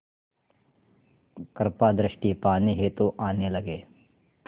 कृपा दृष्टि पाने हेतु आने लगे